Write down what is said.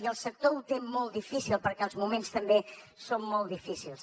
i el sector ho té molt difícil perquè els moments també són molt difícils